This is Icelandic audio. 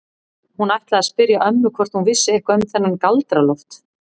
Hún ætlaði að spyrja ömmu hvort hún vissi eitthvað um þennan Galdra-Loft.